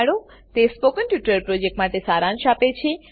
તે spoken tutorial પ્રોજેક્ટનો સારાંશ આપે છે